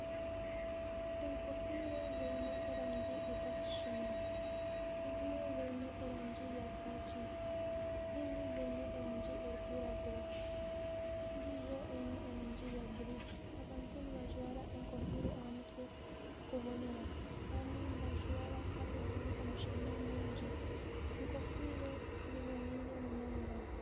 Enkofiira ziine erangi ezitakushuushana ezimwe ziine erangi ya kaaki ezindi ziine erangi erikwiragura endiijo eine erangi ya buru, abantu nibajwara enkofiira aha mutwe kubonera abamwe nibagijwara haaba hariyo omushana mwingi, enkofiira ziboneire munonga.